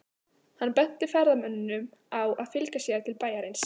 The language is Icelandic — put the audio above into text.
Hann benti ferðamönnunum á að fylgja sér til bæjarins.